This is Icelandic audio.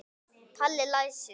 Palli læsir.